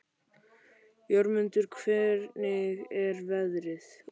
Jörmundur, hvernig er veðrið úti?